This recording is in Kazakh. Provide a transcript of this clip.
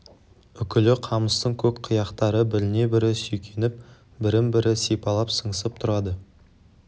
үкілі қамыстың көк қияқтары біріне бірі сүйкеніп бірін бірі сипалап сыңсып тұрады